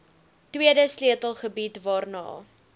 tweede sleutelgebied waarna